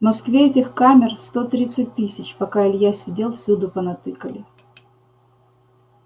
в москве этих камер сто тридцать тысяч пока илья сидел всюду понатыкали